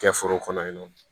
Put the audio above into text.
Kɛ foro kɔnɔ yen nɔ